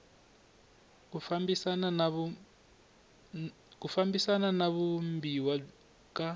ku fambisana na vumbiwa ka